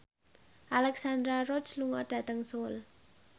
Alexandra Roach lunga dhateng Seoul